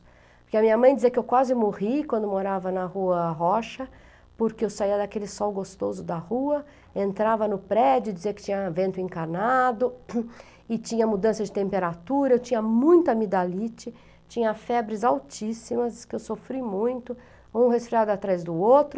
Porque a minha mãe dizia que eu quase morri quando morava na rua Rocha, porque eu saía daquele sol gostoso da rua, entrava no prédio, dizia que tinha vento encarnado e tinha mudança de temperatura, tinha muita amidalite, tinha febres altíssimas, que eu sofri muito, um resfriado atrás do outro.